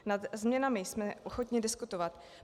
Nad změnami jsme ochotni diskutovat.